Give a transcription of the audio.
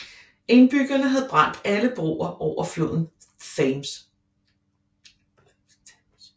Indbyggerne havde brændt alle broer over floden Thames